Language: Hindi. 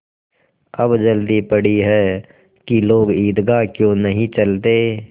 अब जल्दी पड़ी है कि लोग ईदगाह क्यों नहीं चलते